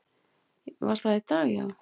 Var það í dag, já?